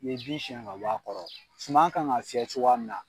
U ye bin siɲɛ ka bɔ a kɔrɔ suman kan ka fiyɛ cogoya mina.